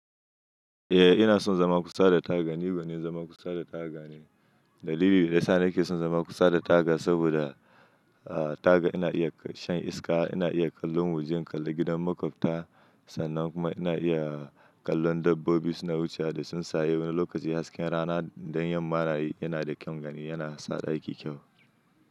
Eh, ina son zama kusa da taga, ni gwanin zama kusa da taga ne. Dalili da yasa nake son zama kusa da taga saboda, ah taga ina iya shan iska, ina iya kallon waje, in kalla gidan makwabta, sannan kuma ina iya kallon dabbobi suna wucewa da sun saye, wani lokaci hasken rana don yamma nayi yana da kyaun gani yana sa ɗaki kyau.